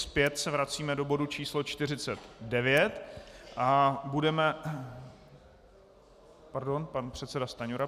Zpět se vracíme do bodu číslo 49 a budeme - pardon, pan předseda Stanjura.